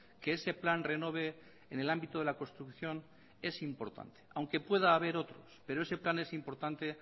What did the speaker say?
que ese plan renove en el ámbito de la construcción es importante aunque pueda haber otros pero ese plan es importante